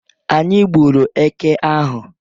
Anyị gburu eke ahụ